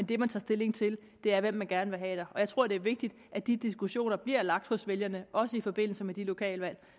det man tager stilling til er hvem man gerne vil have der og jeg tror det er vigtigt at de diskussioner bliver lagt hos vælgerne også i forbindelse med de lokale valg